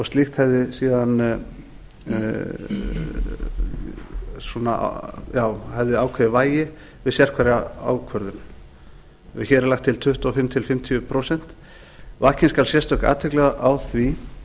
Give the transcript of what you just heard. slíkt hefði síðan ákveðið vægi við sérhverja ákvörðun hér er lagt til tuttugu og fimm til fimmtíu prósent vakin skal sérstök athygli á því